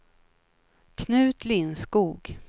Knut Lindskog